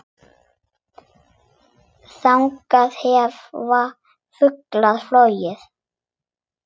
Þannig hefja þau flugið.